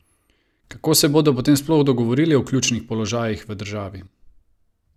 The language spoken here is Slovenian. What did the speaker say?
Kako se bodo potem sploh dogovorili o ključnih položajih v državi?